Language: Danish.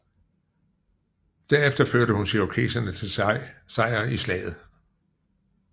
Derefter førte hun cherokeserne til sejr i slaget